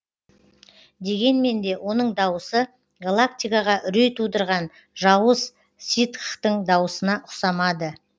дегенмен де оның дауысы галактикаға үрей тудырған жауыз ситхтің дауысына ұқсамады